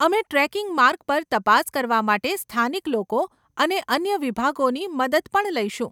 અમે ટ્રેકિંગ માર્ગ પર તપાસ કરવા માટે સ્થાનિક લોકો અને અન્ય વિભાગોની મદદ પણ લઈશું.